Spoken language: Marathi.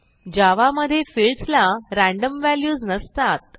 जावा मधे फील्ड्स ला रॅन्डम व्हॅल्यूज नसतात